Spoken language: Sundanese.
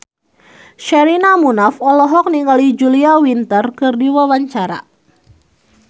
Sherina Munaf olohok ningali Julia Winter keur diwawancara